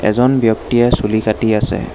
এজন ব্যক্তিয়ে চুলি কাটি আছে।